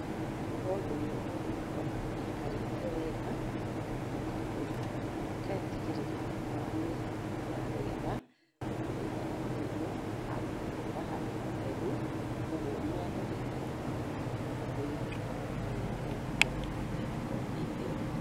Nĩ tondũ ng'ombe ĩyo nĩ ĩkoragwo ĩikarĩte wega, na ũgatigĩrĩra nĩ wamĩiga wega, ũndũ ĩtaraurĩrwo, handũ hega, handũ hatheru, koguo mĩako nĩ írĩ bata mũno thĩinĩ wa ng'ombe ĩyo ya iria, na ĩgakorwo nĩ theru.